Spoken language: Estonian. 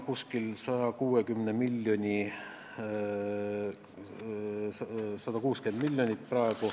Praegu on see umbes 160 miljonit.